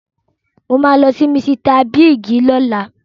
Mo máa lọ sí Misita Bíìgì lọ́la.